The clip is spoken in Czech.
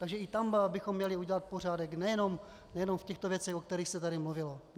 Takže i tam bychom měli udělat pořádek, nejen v těchto věcech, o kterých se tady mluvilo.